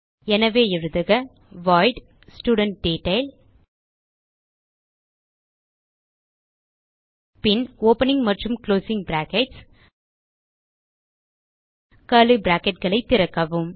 எனவே எழுதுக void student detail பின் ஓப்பனிங் மற்றும் குளோசிங் பிராக்கெட்ஸ் கர்லி bracketகளை திறக்கவும்